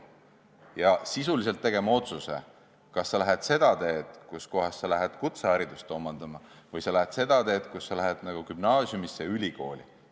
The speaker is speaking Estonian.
Sa pead sisuliselt tegema otsuse, kas sa lähed seda teed, et omandad kutsehariduse, või sa lähed seda teed, mis viib gümnaasiumisse ja ülikooli.